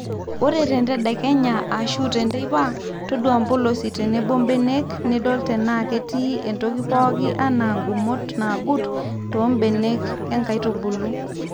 ore tentedekenya ashu teipa ,todua mpolosi tenebo mbenek nidol tenaa ketii entoki pooki anaa nkumot nagut too mbenek enkaitubulu